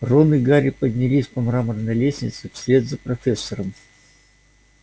рон и гарри поднялись по мраморной лестнице вслед за профессором